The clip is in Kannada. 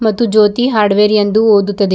ಮತ್ತು ಜ್ಯೋತಿ ಹಾರ್ಡ್ವೇರ್ ಎಂದು ಓದುತ್ತದೆ.